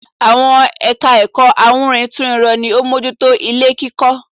Àwọn ẹ̀ka ẹ̀kọ́ awúrintúnrinrọ ni ó mójú tó ilé kíkọ́